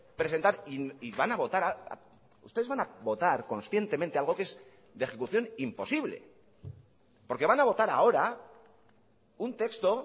presentar y van a votar ustedes van a votar conscientemente algo que es de ejecución imposible porque van a votar ahora un texto